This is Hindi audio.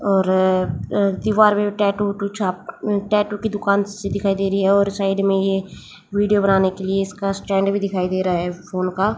और अह दीवार पे टैटू अह टैटू की दुकान सी दिखाई दे रही है और साइड में ये वीडियो बनाने के लिए इसका स्टैंड भी दिखाई दे रहा है फोन का।